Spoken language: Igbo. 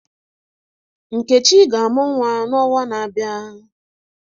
Nkechi ga-amu nwa n'ọnwa na-abịa.